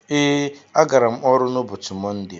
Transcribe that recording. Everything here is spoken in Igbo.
Ee, agara m ọrụ n'ụbọchị mọnde.